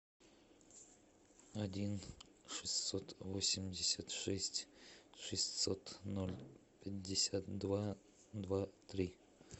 один шестьсот восемьдесят шесть шестьсот ноль пятьдесят два два три